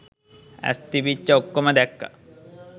ඇස් තිබිච්ච ඔක්කොම දැක්ක